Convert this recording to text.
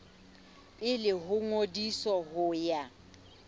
pele ho ngodiso ho ya